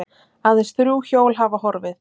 Aðeins þrjú hjól hafa horfið